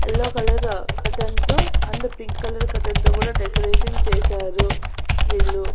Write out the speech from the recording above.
Yellow colour cotton తో and pink colour cotton తో కూడా డెకరేషన్ చేశారు వీళ్ళు.